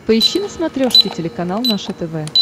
поищи на смотрешке телеканал наше тв